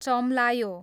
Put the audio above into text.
चम्लायो